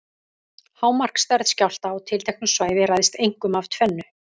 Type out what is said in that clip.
Hámarksstærð skjálfta á tilteknu svæði ræðst einkum af tvennu.